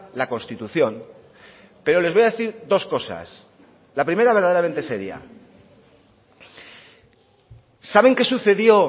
la constitución pero les voy a decir dos cosas la primera verdaderamente seria saben qué sucedió